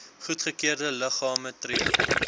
goedgekeurde liggame tree